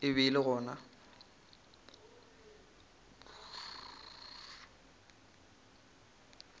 e be e le gona